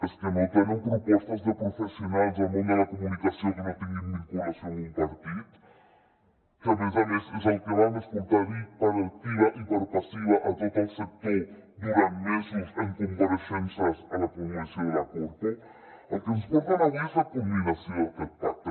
és que no tenen propostes de professionals del món de la comunicació que no tinguin vinculació amb un partit que a més a més és el que vam escoltar dir per activa i per passiva a tot el sector durant mesos en compareixences a la comissió de la corpo el que ens porten avui és la culminació d’aquest pacte